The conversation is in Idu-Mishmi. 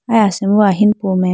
aya asimbo ahinu po mai.